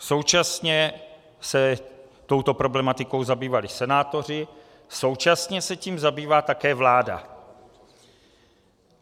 Současně se touto problematikou zabývali senátoři, současně se tím zabývá také vláda.